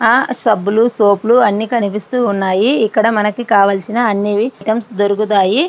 ఆ సబ్బులు సోపులు అన్నీ కనిపిస్తూ ఉన్నాయి ఇక్కడ మనకి కావాల్సిన అన్ని ఐటమ్స్ దొరుకుతాయి.